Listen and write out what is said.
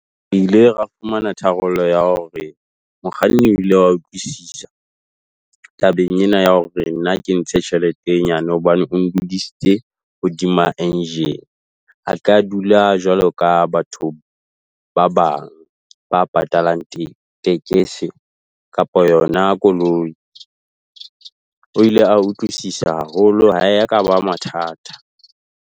Ile ra fumana tharollo ya hore mokganni o ile wa utlwisisa tabeng ena ya hore nna ke ntshe tjhelete e nyane hobane o ndudisitse hodima engine. Ha kea dula jwalo ka batho ba bang ba patalang tekesi kapa yona koloi. O ile a utlwisisa haholo ha e ya ka ba mathata.